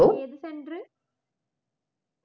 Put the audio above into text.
ഏത് centre